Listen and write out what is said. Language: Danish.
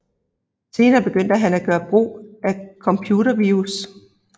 Senere begyndte han at gøre brug af computervirus